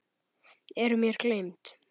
Eru mér gleymd.